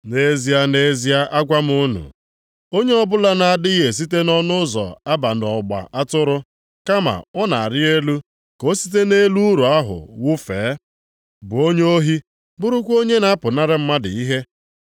“Nʼezie, nʼezie, agwa m unu, onye ọbụla na-adịghị esite nʼọnụ ụzọ aba nʼọgba atụrụ kama ọ na-arị elu ka o site nʼelu ụlọ ahụ wufee, bụ onye ohi bụrụkwa onye na-apụnara mmadụ ihe.